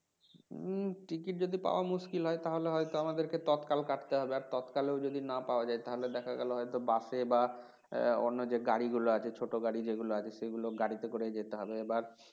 হম ticket যদি পাওয়া মুশকিল হয় তাহলে হয়তো আমাদের তৎকাল কাটতে হবে আর তৎকালে যদি না পাওয়া যায় তাহলে দেখা গেল হয়ত বাসে বা অন্য যে গাড়িগুলো আছে ছোট গাড়ি যেগুলো আছে সেগুলো গাড়িতে করে যেতে হবে এবার